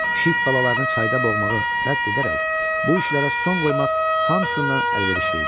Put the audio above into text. Pişik balalarını çayda boğmağı rədd edərək, bu işlərə son qoymaq hamısından əlverişli idi.